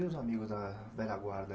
E os amigos da velha guarda?